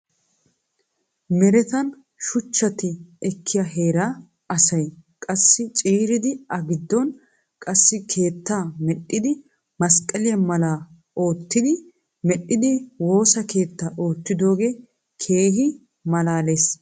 Meretan shuchchatti ekkiya heeraa asay qassi ciiridi agiddon qassi keettaa medhdhidi masqaliya mala oottiddi medhdhidi woosa keetta oottidooge keehi malaales.